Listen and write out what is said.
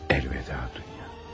Əlvida Dunya.